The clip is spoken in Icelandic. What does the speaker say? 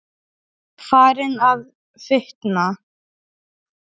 Farin að fitna.